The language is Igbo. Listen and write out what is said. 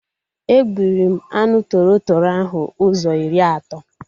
E gburi m anụ tọrọ tọrọ ahụ ụzọ iri ato